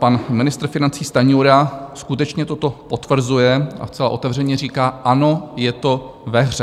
Pan ministr financí Stanjura skutečně toto potvrzuje a zcela otevřeně říká: Ano, je to ve hře.